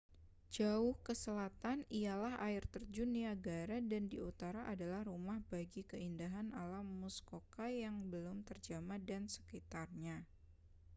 jauh ke selatan ialah air terjun niagara dan di utara adalah rumah bagi keindahan alam muskoka yang belum terjamah dan sekitarnya